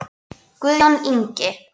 Guðjón Ingi.